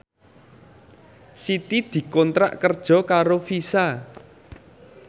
Siti dikontrak kerja karo Visa